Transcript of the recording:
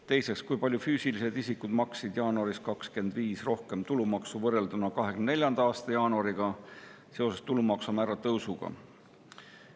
Teiseks, kui palju füüsilised isikud maksid jaanuaris 2025 rohkem tulumaksu võrrelduna 2024. aasta jaanuariga seoses tulumaksu määra tõusuga?